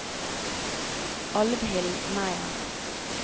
Alvhild Meyer